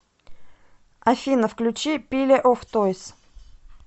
афина включи пиле оф тойз